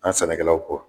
An sannikɛlaw kɔ